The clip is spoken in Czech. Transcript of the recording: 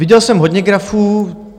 Viděl jsem hodně grafů.